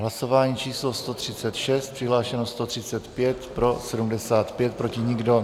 Hlasování číslo 136, přihlášeno 135, pro 75, proti nikdo.